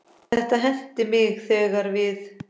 Þetta henti mig þegar við